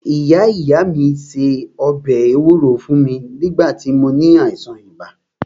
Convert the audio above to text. Ìyá ìyá mí se ọbẹ̀ ewúro fún mí nígbà tí mó ní àìsàn ibà.